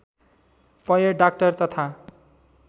पय डाक्टर तथा